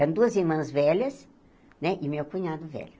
Eram duas irmãs velhas né e meu cunhado velho.